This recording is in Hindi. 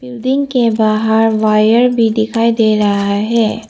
बिल्डिंग के बाहर वायर भी दिखाई दे रहा है।